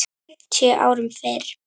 fimmtíu árum fyrr.